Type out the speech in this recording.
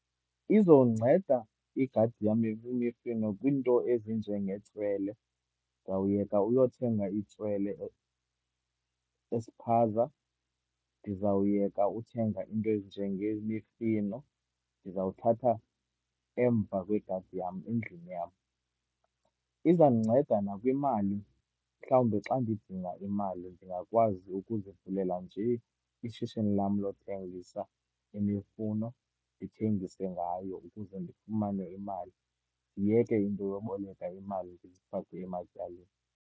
Izonceda igadi yam kwiinto ezinjengetswele. Ndizawuyeka uyothenga itswele espaza. Ndizawuyeka uthenga iinto ezinjengemifino, ndizawuthatha emva kwegadi yam, endlini yam. Izandinceda nakwimali, mhlawumbi xa ndidinga imali ndingakwazi ukuzivulela njee ishishini lam lothengisa imifuno, ndithengise ngayo ukuze ndifumane imali. Ndiyeke into yoboleka imali ndizifake ematyaleni.